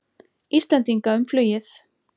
Íslendinga um flugið.